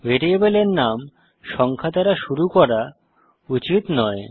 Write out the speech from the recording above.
ভ্যারিয়েবলের নাম সংখ্যা দ্বারা শুরু করা উচিত নয়